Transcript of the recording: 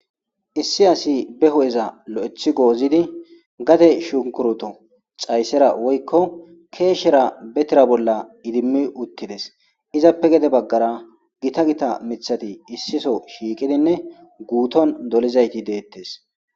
issi asi be hu7eza lo7ethi goozidi gate shunkuruto xayssera woykko keeshshera betira bolla idimmi uttides izappe gede baggara gita gita mithati issiso shiiqidinne guuton dolizayti deettes